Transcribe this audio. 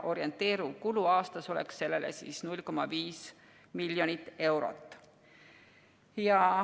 Orienteeriv kulu aastas oleks sellele pool miljonit eurot.